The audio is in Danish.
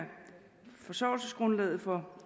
forsørgelsesgrundlaget for